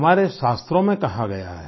हमारे शास्त्रों में कहा गया है